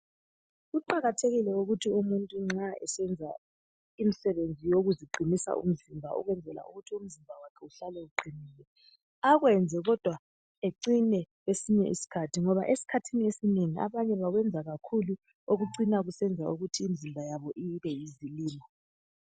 Kuqakathekile ukuthi umuntu nxa esenza imsebenzi yokuziqinisa umzimba ukwenzela ukuthi umzimba wakhe uhlale uqinile, akwenzwe kodwa acine kwesinye isikhathi, ngoba esikhathini esinengi abanye bakwenza kakhulu okucina kusenza ukuthi imizimba yabo ibe yizilima.